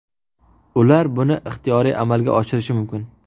Ular buni ixtiyoriy amalga oshirishi mumkin.